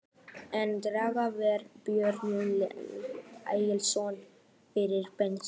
Einn kennara var Sveinbjörn Egilsson, faðir Benedikts.